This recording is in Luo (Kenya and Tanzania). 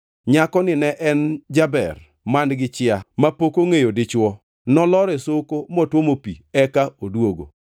Nyakoni ne en jaber man-gi chia, mapok ongʼeyo dichwo! Nolor e soko, motwomo pi eka odwogo.